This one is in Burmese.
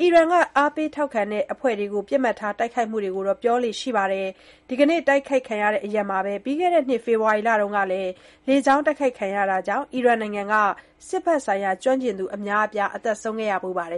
အီရန်က အားပေးထောက်ခံနေတဲ့ အဖွဲ့တွေကို ပစ်မှတ်ထား တိုက်ခိုက်မှုတွေကိုတော့ ပြောလေ့ရှိပါတယ်။ ဒီကနေ့ တိုက်ခိုက်ခံရတဲ့ အရပ်မှာပဲ ပြီးခဲ့တဲ့နှစ် ဖေဖော်ဝါရီလက လေကြောင်းတိုက်ခိုက်မှုကြောင့် အီရန်နိုင်ငံက စစ်ဘက်ဆိုင်ရာ ကျွမ်းကျင်သူ အများအပြား သေဆုံးခဲ့ဖူးပါတယ်